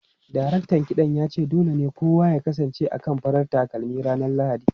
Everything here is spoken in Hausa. Daraktan kiɗan ya ce dole ne kowa ya kasance akan farar takalmi ranar Lahadi.